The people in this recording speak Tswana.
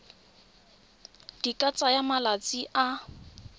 di ka tsaya malatsi a